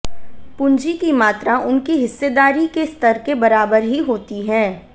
पूंजी की मात्रा उनकी हिस्सेदारी के स्तर के बराबर ही होती है